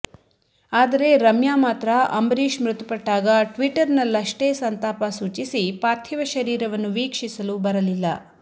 ಆದರೆ ರಮ್ಯಾ ಮಾತ್ರ ಅಂಬರೀಷ್ ಮೃತಪಟ್ಟಾಗ ಟ್ವೀಟರ್ನಲ್ಲಷ್ಟೇ ಸಂತಾಪ ಸೂಚಿಸಿ ಪಾರ್ಥಿವ ಶರೀರವನ್ನು ವೀಕ್ಷಿಸಲು ಬರಲಿಲ್ಲ